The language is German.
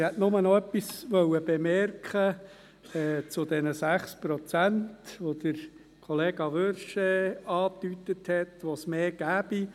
Ich will nur noch etwas zu den 6 Prozent anmerken, die Kollega Wyrsch angedeutet hat, wonach es mehr gäbe.